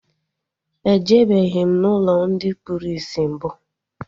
E jebeghim ụlọ ndị kpụrụ isi mbụ